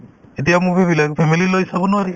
এতিয়াৰ movie বিলাক family লৈ চাব নোৱাৰি